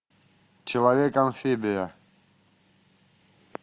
человек амфибия